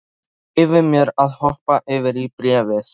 Ég leyfi mér að hoppa yfir í bréfið.